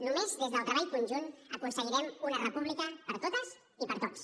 només des del treball conjunt aconseguirem una república per a totes i per a tots